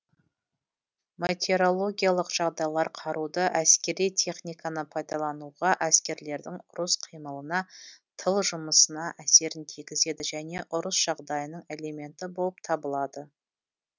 метеорологиялық жағдайлар қаруды әскери техниканы пайдалануға әскерлердің ұрыс қимылына тыл жұмысына әсерін тигізеді және ұрыс жағдайының элементі болып табылады